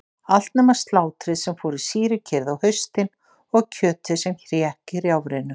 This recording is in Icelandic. Allt nema slátrið sem fór í sýrukerið á haustin og kjötið sem hékk í rjáfrinu.